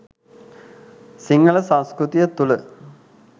සිංහල සංස්කෘතිය තුල